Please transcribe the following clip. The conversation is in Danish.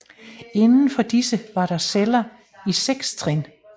Indenfor disse var der celler i seks trin